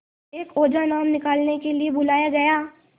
एक ओझा नाम निकालने के लिए बुलाया गया